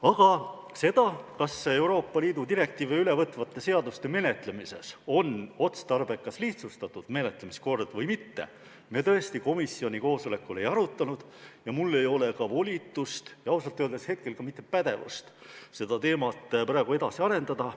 Aga seda, kas Euroopa Liidu direktiive ülevõtvate seaduste menetlemises oleks otstarbekas lihtsustatud menetlemiskord või mitte, me komisjoni koosolekul muidugi ei arutanud ja mul ei ole ka volitust ja ausalt öeldes hetkel ka mitte pädevust seda teemat praegu edasi arendada.